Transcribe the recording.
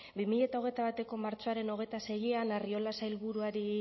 bi mila hogeita bateko martxoaren hogeita seian arriola sailburuari